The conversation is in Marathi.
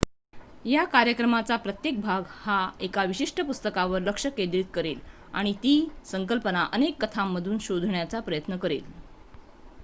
या कार्यक्रमाचा प्रत्येक भाग हा एका विशिष्ट पुस्तकावर लक्ष केंद्रित करेल आणि ती संकल्पना अनेक कथांमधून शोधण्याचा प्रयत्न करेल